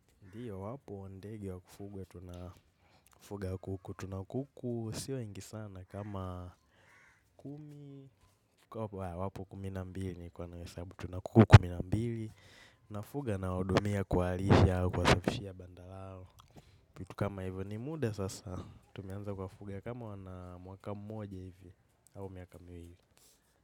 Ndiyo, wapo ndege wa kufugwa, tuna fuga kuku, tuna kuku si wengi sana kama kumi, wapo kumi na mbili nilikuwa nawahesabu, tuna kuku kumi na mbili, na fuga na hudumia kuwalisha au kwasafishia banda lao, kitu kama hivyo ni muda sasa, tumeanza kuwa fuga kama wana mwaka mmoja hivi, au miaka miwili.